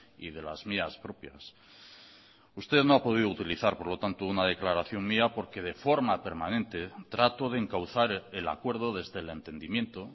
y de las mías propias usted no ha podido utilizar por lo tanto una declaración mía porque de forma permanente trato de encauzar el acuerdo desde el entendimiento